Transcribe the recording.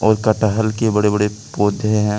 कटहल के बड़े बड़े पौधे हैं।